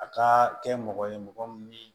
A ka kɛ mɔgɔ ye mɔgɔ min